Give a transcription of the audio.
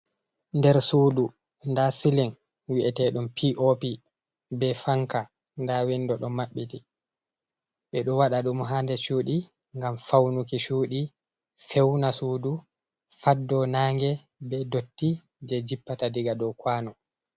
Nɗer suɗu, nɗa silin wi'eteɗon piopi, be fanka, nɗa winɗo ɗo mabbiti. Be ɗo waɗa ɗum ha nɗe cuɗi ngam faunuki chuɗi, feuna suɗu, fatɗo nange, be ɗotti je jippata ɗiga ɗow kawano.